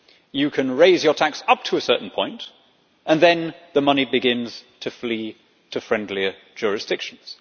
You can raise your tax up to a certain point and then the money begins to flee to friendlier jurisdictions.